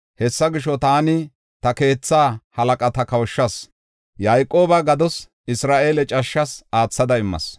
Hessa gisho, taani ta keetha halaqata kawushas; Yayqooba gados, Isra7eele cashshas aathada immas.”